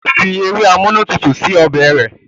Óò Fi ewé amúnútutù sí inú ọbẹ̀ rẹ̀.